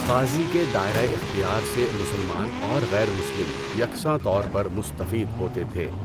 قاضی کے دائرہ اختیار سے مسلمان اور غیر مسلم یکساں طور پر مستفید ہوتے تھے۔